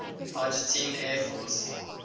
argentine air force